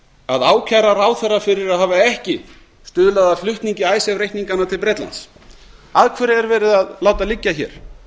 að ákæra ráðherra fyrir að hafa ekki stuðlað að flutningi icesave reikninganna til bretlands að hverju er látið að vera að liggja hér